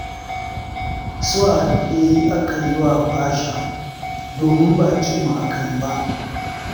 Su wa dai aka yi wa fasha, domin ba cin mu aka yi ba.